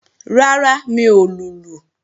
Rárá, mi ò lùlù